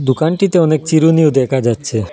দোকানটিতে অনেক চিরুনিও দেখা যাচ্ছে।